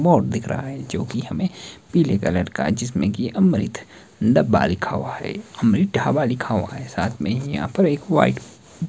board दिख रहा है जोकि हमे पीले कलर का जिसमें की अमृत डब्बा लिखा हुआ है अमृत ढाबा लिखा हुआ है साथ में यहां पर एक वाइट --